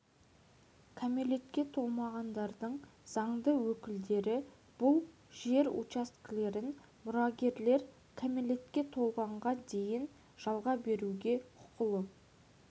кәмелетке толмағандардың заңды өкілдері бұл жер учаскелерін мұрагерлер кәмілетке толғанға дейін жалға беруге құқылы